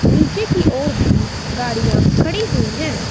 नीचे की और भी गाड़ियां खड़ी हुई हैं।